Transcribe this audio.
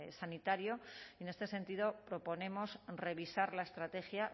sanitario y en este sentido proponemos revisar la estrategia